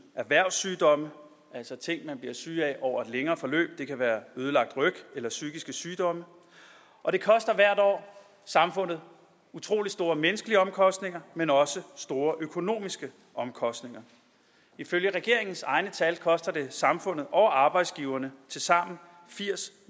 erhvervssygdomme altså ting man bliver syge af over et længere forløb det kan være ødelagt ryg eller psykiske sygdomme og det koster hvert år samfundet utrolig store menneskelige omkostninger men også store økonomiske omkostninger ifølge regeringens egne tal koster det samfundet og arbejdsgiverne tilsammen firs